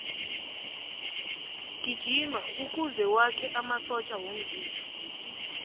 gijima kuze wakhe amasotja womzimba